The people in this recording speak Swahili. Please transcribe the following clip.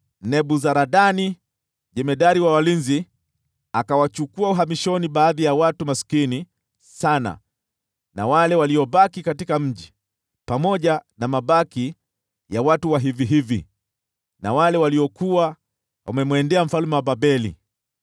Nebuzaradani, jemadari wa askari walinzi, akawapeleka uhamishoni baadhi ya watu maskini sana na wale waliobaki katika mji, pamoja na mabaki ya watu wa kawaida, na wale waliojisalimisha kwa mfalme wa Babeli.